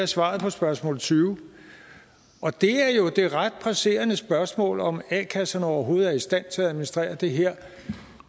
svaret på spørgsmål tyve og det er jo det ret presserende spørgsmål om a kasserne overhovedet er i stand til at administrere det her